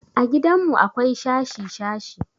A gidanmu akwai shashi-shashi.